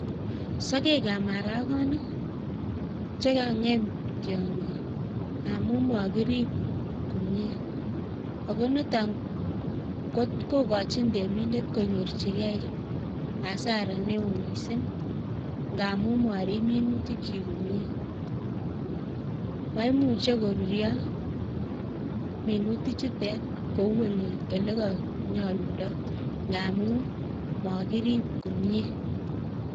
Sokek ab maraginik chekang'em tiongik ngamun makirib komie. Ako nitok kokochin temindet konyor asara neo mising. Amun marib minutikchi komie. Maimuche koruryo minutik chutet kou ole kanyalundo ngamun makirib komie.